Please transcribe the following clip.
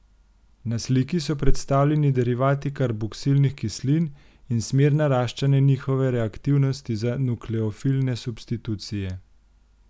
Na sliki so predstavljeni derivati karboksilnih kislin in smer naraščanja njihove reaktivnosti za nukleofilne substitucije.